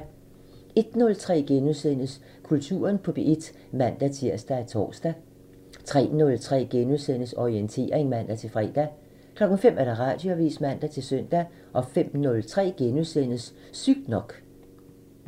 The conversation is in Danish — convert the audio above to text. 01:03: Kulturen på P1 *(man-tir og tor) 03:03: Orientering *(man-fre) 05:00: Radioavisen (man-søn) 05:03: Sygt nok *(man)